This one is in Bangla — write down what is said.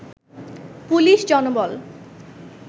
পুলিশ জনবল